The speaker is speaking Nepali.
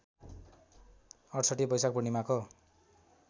६८ बैशाख पूर्णिमाको